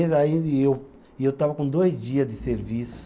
E eu, e eu estava com dois dias de serviço.